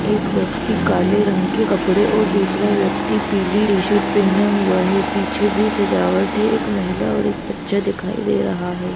एक ब्यक्ति काले रंग के कपड़े और दूसरा ब्यक्ति पीली टीशर्ट पहना हुआ है पीछे भी सजावट है एक महिला और एक बच्चे दिखाई दे रहा हैं।